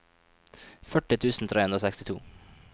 førti tusen tre hundre og sekstito